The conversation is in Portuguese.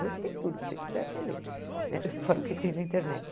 Hoje tem tudo, se você quiser, você lê, né fora o que tem na internet.